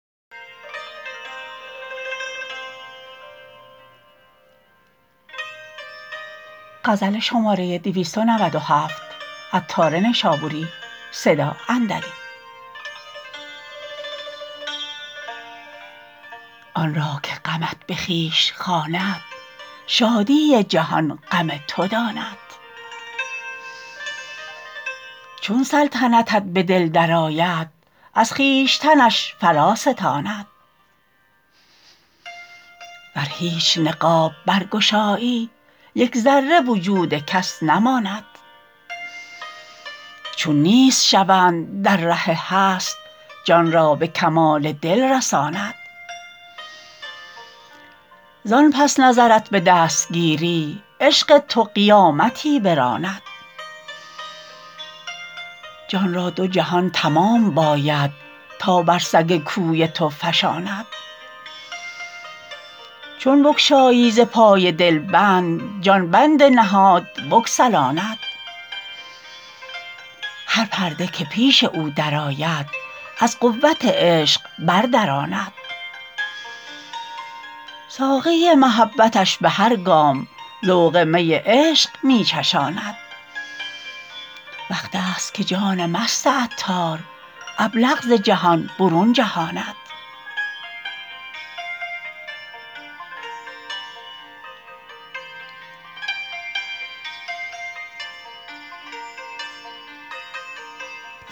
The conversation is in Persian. آن را که غمت به خویش خواند شادی جهان غم تو داند چون سلطنتت به دل درآید از خویشتنش فراستاند ور هیچ نقاب برگشایی یک ذره وجود کس نماند چون نیست شوند در ره هست جان را به کمال دل رساند زان پس نظرت به دست گیری عشق تو قیامتی براند جان را دو جهان تمام باید تا بر سگ کوی تو فشاند چون بگشایی ز پای دل بند جان بند نهاد بگسلاند هر پرده که پیش او درآید از قوت عشق بردراند ساقی محبتش به هر گام ذوق می عشق می چشاند وقت است که جان مست عطار ابلق ز جهان برون جهاند